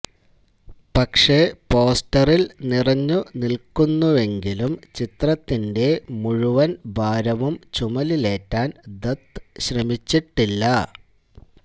പക്ഷെ പോസ്റ്ററിൽ നിറഞ്ഞു നിൽക്കുന്നുവെങ്കിലും ചിത്രത്തിന്റെ മുഴുവൻ ഭാരവും ചുമലിലേറ്റാൻ ദത്ത് ശ്രമിച്ചിട്ടില്ല